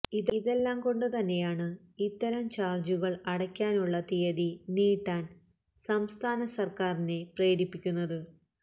ഇതെല്ലാംകൊണ്ട് തന്നെയാണ് ഇത്തരം ചാര്ജുകള് അടക്കാനുള്ള തീയതി നീട്ടാന് സംസ്ഥാന സര്ക്കാറിനെ പ്രേരിപ്പിക്കുന്നത്